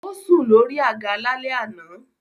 Ó sùn lórí àga lálẹ́ àná.